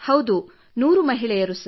ಹೌದು 100 ಮಹಿಳೆಯರು